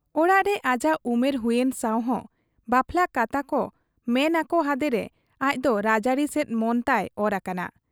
ᱚᱲᱟᱜᱨᱮ ᱟᱡᱟᱜ ᱩᱢᱮᱨ ᱦᱩᱭᱮᱱ ᱥᱟᱶᱦᱚᱸ ᱵᱟᱯᱞᱟ ᱠᱟᱛᱷᱟ ᱠᱚᱠᱚ ᱢᱮᱱ ᱟᱠᱚ ᱦᱟᱫᱮᱨᱮ ᱟᱡᱫᱚ ᱨᱟᱡᱲᱟᱹᱨᱤ ᱥᱮᱫ ᱢᱚᱱᱛᱟᱭ ᱚᱨ ᱟᱠᱟᱱᱟ ᱾